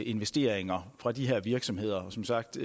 investeringer for de her virksomheder som sagt